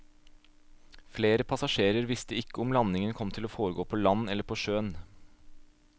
Flere passasjerer visste ikke om landingen kom til å foregå på land eller på sjøen.